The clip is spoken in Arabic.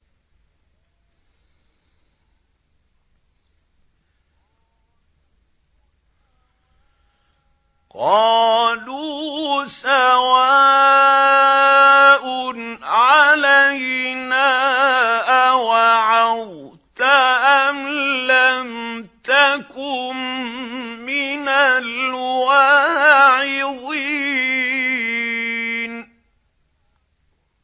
قَالُوا سَوَاءٌ عَلَيْنَا أَوَعَظْتَ أَمْ لَمْ تَكُن مِّنَ الْوَاعِظِينَ